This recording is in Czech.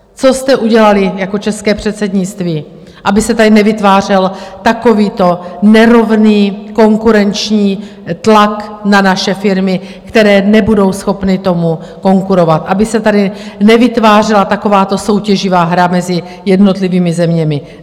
Co jste udělali jako české předsednictví, aby se tady nevytvářel takovýto nerovný konkurenční tlak na naše firmy, které nebudou schopny tomu konkurovat, aby se tady nevytvářela takováto soutěživá hra mezi jednotlivými zeměmi?